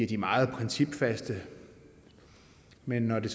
de meget principfaste men når det